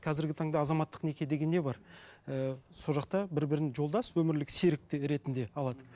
қазіргі таңда азаматтық неке деген не бар ііі сол жақта бір бірін жолдас өмірлік серік ретінде алады